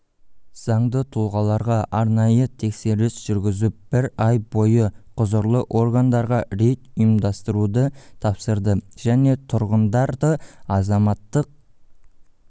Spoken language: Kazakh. заңды тұлғаларға арнайы тексеріс жүргізіп бір ай бойы құзырлы органдарға рейд ұйымдастыруды тапсырды және тұрғындардыазаматтық